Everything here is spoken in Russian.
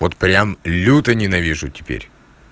вот прям люто ненавижу теперь